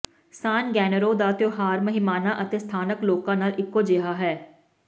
ਸਾਨ Gennaro ਦਾ ਤਿਉਹਾਰ ਮਹਿਮਾਨਾਂ ਅਤੇ ਸਥਾਨਕ ਲੋਕਾਂ ਨਾਲ ਇਕੋ ਜਿਹਾ ਹੈ